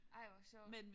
Ej hvor sjovt